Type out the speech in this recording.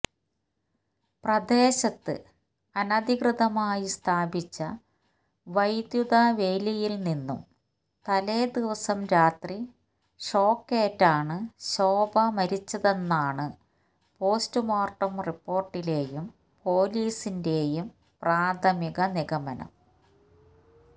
പ്രദേശത്ത് അനധികൃതമായി സ്ഥാപിച്ച വൈദ്യുതവേലിയില്നിന്നും തലേദിവസം രാത്രി ഷോക്കേറ്റാണ് ശോഭ മരിച്ചതെന്നാണ് പോസ്റ്റ്മോർട്ടം റിപ്പോർട്ടിലെയും പോലീസിന്റെയും പ്രാഥമിക നിഗമനം